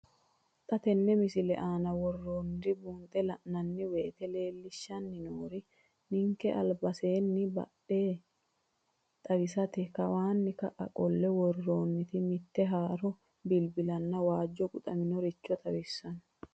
Xa tenne missile aana worroonniri buunxe la'nanni woyiite leellishshanni noori ninkera albasenna bdhe xawisate kawanna ka'a qolle worroonnita mitte haaro bilbilanna waajjo quxaminoricho xawissanno.